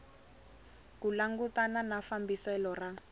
ku langutana na fambiselo ra